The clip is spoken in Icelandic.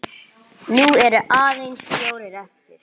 Nú eru aðeins fjórir eftir.